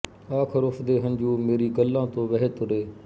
ਆਖ਼ਰ ਉਸਦੇ ਹੰਝੂ ਮੇਰੀ ਗਲ੍ਹਾਂ ਤੋਂ ਵਹਿ ਤੁਰੇ